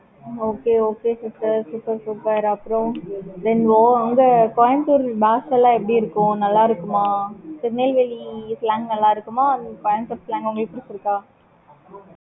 okay okay sister super super அப்புறம், then ஓ அங்க கோயம்புத்தூர் பாஷைல எல்லாம் எப்படி இருக்கும்? நல்லா இருக்குமா? திருநெல்வேலி slang நல்லா இருக்குமா? கோயம்புத்தூர் slang உங்களுக்கு புடிச்சிருக்கா?